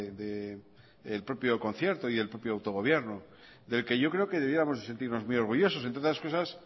del propio concierto y el propio autogobierno del que yo creo que debiéramos de sentirnos muy orgullosos entre otras cosas